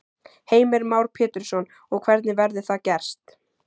Heimir Már Pétursson: Og hvernig verður það gerst?